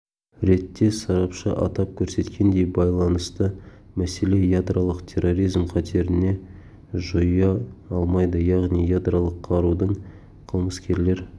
ретте сарапшы атап көрсеткендей байланысты мәселе ядролық терроризм қатерін жоя алмайды яғни ядролық қарудың қылмыскерлер